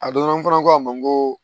A donna n fana fana ko a ma n ko